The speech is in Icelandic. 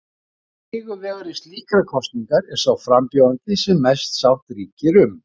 Sigurvegari slíkrar kosningar er sá frambjóðandi sem mest sátt ríkir um.